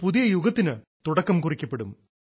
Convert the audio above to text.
ഒരു പുതിയ യുഗത്തിനു തുടക്കം കുറിക്കപ്പെടും